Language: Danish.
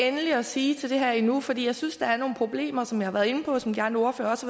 endeligt at sige til det her endnu fordi jeg synes at der er nogle problemer som jeg har været inde på og som de andre ordførere også